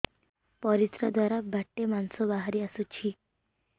ପରିଶ୍ରା ଦ୍ୱାର ବାଟେ ମାଂସ ବାହାରି ଆସୁଛି